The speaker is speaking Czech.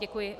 Děkuji.